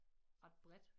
Ret bredt